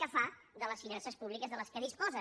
què fa de les finances públiques de què disposa